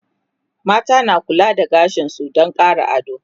mata na kula da gashinsu Dan Ƙara ado